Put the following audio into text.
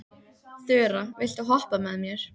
Þura, viltu hoppa með mér?